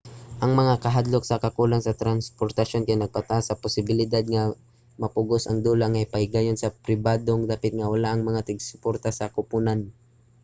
ang mga kahadlok sa kakulang sa transportasyon kay nagpataas sa posibilidad nga mapugos ang dula nga ipahigayon sa pribadong dapit nga wala ang mga tig-suporta sa koponan